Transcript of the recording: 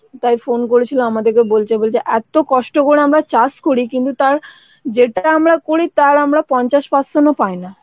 তাই ফোন করেছিল আমাদেরকে বলছে বলছে এত কষ্ট করে আমরা চাষ করি কিন্তু তার যেটাই আমরা করি তার আমরা পঞ্চাশ percent ও পাইনা,